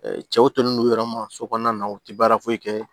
cɛw tolen don u yɛrɛ ma so kɔnɔna na u ti baara foyi kɛ